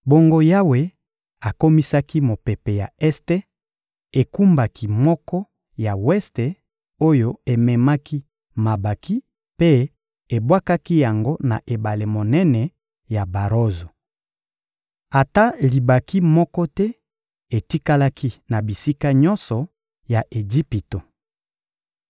Bongo Yawe akomisaki mopepe ya este ekumbaki moko ya weste oyo ememaki mabanki mpe ebwakaki yango na ebale monene ya Barozo. Ata libanki moko te etikalaki na bisika nyonso ya Ejipito.